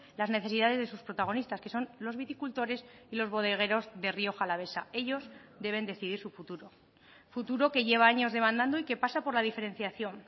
las necesidades de sus protagonistas que son los viticultores y los bodegueros de rioja alavesa ellos deben decidir su futuro futuro que lleva años demandando y que pasa por la diferenciación